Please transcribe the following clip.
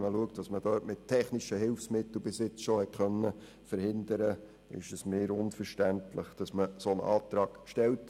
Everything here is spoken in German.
Angesichts dessen, was man in diesem Bereich bisher mit technischen Hilfsmitteln verhindern konnte, ist es mir unverständlich, dass man einen solchen Antrag stellt.